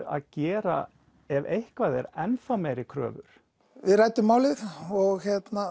að gera ef eitthvað er ennþá meiri kröfur við ræddum málið og